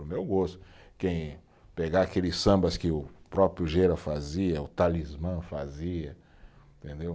Para o meu gosto, quem pegar aqueles sambas que o próprio Gera fazia, o Talismã fazia, entendeu?